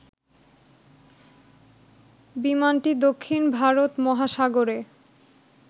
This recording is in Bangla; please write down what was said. বিমানটি দক্ষিণ ভারত মহাসাগরে